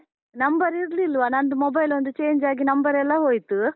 Number ಇರ್ಲಿಲ್ವ, ನಂದು mobile ಒಂದು change ಆಗಿ number ಎಲ್ಲ ಹೋಯ್ತು.